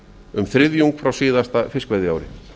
um þriðjung frá síðasta fiskveiðiári